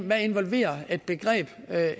hvad involverer et begreb